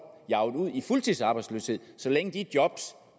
ud i fuldtidsarbejdsløshed så længe de job